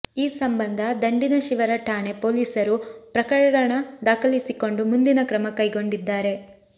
ಈ ಸಂಬಂಧ ದಂಡಿನಶಿವರ ಠಾಣೆ ಪೊಲೀಸರು ಪ್ರಕರಣ ದಾಖಲಿಸಿಕೊಂಡು ಮುಂದಿನ ಕ್ರಮ ಕೈಗೊಂಡಿದ್ದಾರೆ